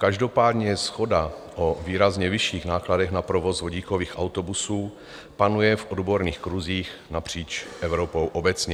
Každopádně shoda o výrazně vyšších nákladech na provoz vodíkových autobusů panuje v odborných kruzích napříč Evropou obecně.